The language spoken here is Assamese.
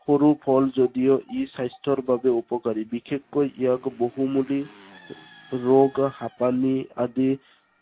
সৰু ফল যদিও ই স্বাস্থ্য়ৰ বাবে উপকাৰী। বিশেষকৈ ইয়াক বহুমোগী ৰোগ হাঁপানী আদি